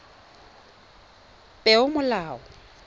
peomolao